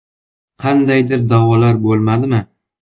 Qandaydir da’volar bo‘lmadimi?